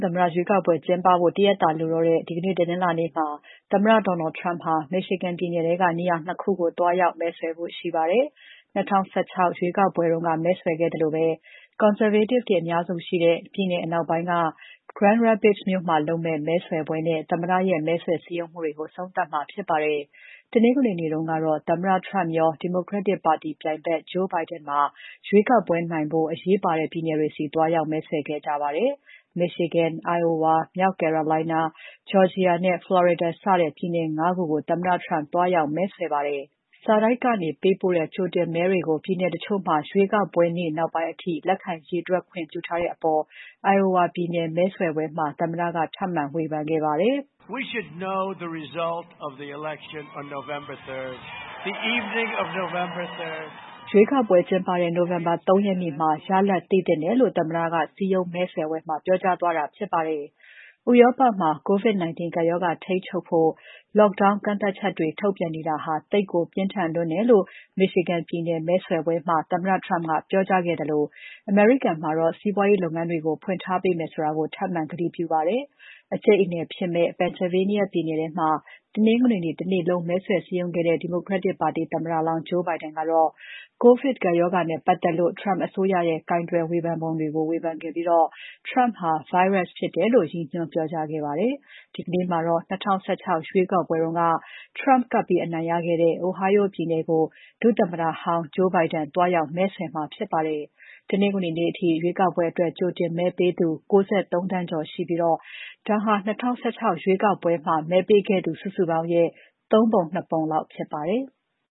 သမ္မတ ရွေးကောက်ပွဲကျင်းပဖို့ ၁ ရက်သာလိုတော့တဲ့ တနင်္လာနေ့မှာ သမ္မတ Donald Trump ဟာ Michigan ပြည်နယ်ထဲက နေရာ ၂ ခုကို သွားရောက် မဲဆွယ်ဖို့ ရှိပါတယ်။ ၂၀၁၆ ရွေးကောက်ပွဲမဲဆွယ်ခဲ့သလိုပဲ Conservative တွေအများစုရှိတဲ့ ပြည်နယ်အနောက်ပိုင်းက Grand Rapids မြို့မှာ လုပ်မယ့် မဲဆွယ်ပွဲနဲ့ သမ္မတရဲ့ မဲဆွယ်စည်းရုံးမှုတွေကို အဆုံးသတ်မှာဖြစ်ပါတယ်။ တနင်္ဂနွေနေ့တုန်းကတော့ သမ္မတ Trump ရော Democratic ပါတီပြိုင်ဖက် Joe Biden ပါ ရွေးကောက်ပွဲနိုင်ဖို့ အရေးပါတဲ့ ပြည်နယ်တွေကို သွားရောက်ပြီး မဲဆွယ်ခဲ့ကြပါတယ်။ Michigan, Iowa, မြောက် Carolina, Georgia နဲ့ Florida စတဲ့ ပြည်နယ် ၅ ခုကို သမ္မတ Trump သွားရောက် မဲဆွယ်ပါတယ်။ စာတိုက်ကနေပေးပို့တဲ့ ကြိုတင်မဲတွေကို ပြည်နယ်တချို့မှာ ရွေးကောက်ပွဲနေ့ နောက်ပိုင်းအထိ လက်ခံရေတွက်ခွင့်ပြုထားတဲ့အပေါ် Iowa ပြည်နယ်မဲဆွယ်ပွဲမှာ သမ္မတက ထပ်မံ ဝေဖန်ခဲ့ပါတယ်။ ရွေးကောက်ပွဲကျင်းပတဲ့ နိုဝင်ဘာ ၃ ရက်နေ့ညမှာ ရလဒ်သိသင့်တယ်လို့ သမ္မတက စည်းရုံးမဲဆွယ်ပွဲမှာ ပြောကြားသွားတာဖြစ်ပါတယ်။ ဥရောပမှာ COVID ကပ်ရောဂါထိန်းချုပ်ဖို့ lockdown ကန့်သတ်ချက်တွေ ထုတ်ပြန်နေတာဟာ သိပ်ကို ပြင်းထန်လွန်းတယ်လို့ Michigan ပြည်နယ်မဲဆွယ်ပွဲမှာ သမ္မတ Trump ကပြောကြားခဲ့သလို အမေရိကန်မှာ စီးပွားလုပ်ငန်းတွေကို ဖွင့်ထားပေးမယ်ဆိုတာကို ထပ်မံဂတိပြုခဲ့ပါတယ်။ အကြိတ်အနယ်ဖြစ်မယ့် Pennsylvania ပြည်နယ်ထဲမှာ တနင်္ဂနွေနေ့ တနေ့လုံး မဲဆွယ်စည်းရုံးခဲ့တဲ့ Democratic ပါတီသမ္မတလောင်း Joe Biden ကတော့ COVID ကပ်ရောဂါနဲ့ ပတ်သက်လို့ Trump အစိုးရရဲ့ ကိုင်တွယ်ပုံတွေကို ဝေဖန်ခဲ့ပြီး Trump ဟာ virus ဖြစ်တယ်လို့ ရည်ညွှန်းပြောကြားခဲ့ပါတယ်။ ဒီနေ့မှာတော့ ၂၀၁၆ ရွေးကောက်ပွဲတုန်းက Trump ကပ်ပြီးအနိုင်ရခဲ့တဲ့ Ohio ပြည်နယ်ကို ဒုသမ္မတဟောင်း Joe Biden သွားရောက် မဲဆွယ်မှာဖြစ်ပါတယ်။ တနင်္ဂနွေနေ့အထိ ရွေးကောက်ပွဲအတွက် ကြိုတင်မဲပေးသူ ၉၃ သန်းကျော်ရှိပြီး ဒါဟာ ၂၀၁၆ ရွေးကောက်ပွဲမှာ မဲပေးခဲ့သူ စုစုပေါင်းရဲ့ ၃ ပုံ ၂ ပုံလောက်ဖြစ်ပါတယ်။